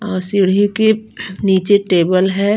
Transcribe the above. अः सीढ़ियों के नीचे टेबल है।